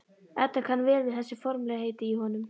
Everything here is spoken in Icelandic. Edda kann vel við þessi formlegheit í honum.